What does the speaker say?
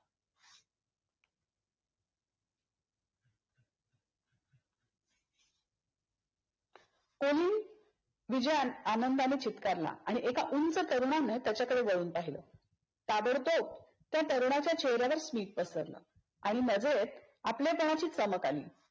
Choline विजय अन आनंदाने चित्कारला आणि एक उंच तरुणाने त्याच्याकडे वळून पहिल. ताबडतोब त्या तरुणाच्या चेहऱ्यावर स्मित पसरल आणि नजर आपलेपणाची चमक आली.